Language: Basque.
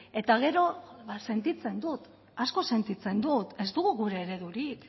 eta gero ba sentitzen dut asko sentitzen dut ez dugu gure eredurik